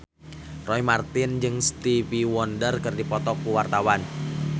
Roy Marten jeung Stevie Wonder keur dipoto ku wartawan